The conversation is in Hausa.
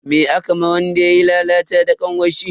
Me aka ma wanda yayi lalata da kanwarshi?